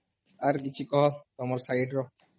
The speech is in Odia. ଅର କିଛି କହ ତମର side ର